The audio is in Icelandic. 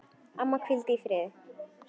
Amma, hvíldu í friði.